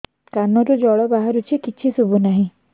କାନରୁ ଜଳ ବାହାରୁଛି କିଛି ଶୁଭୁ ନାହିଁ